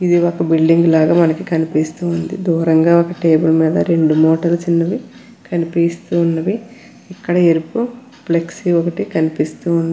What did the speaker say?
ఇది ఒక బిల్డింగ్ లాగా మనకు కనిపిస్తూ ఉన్నది దూరంగా ఒక టేబుల్ మీద రెండు మూటలు చిన్నవి కనిపిస్తూ ఉన్నవి ఇక్కడ ఎరుపు ఫ్లెక్సీ ఒకటి కనిపిస్తూ ఉన్న --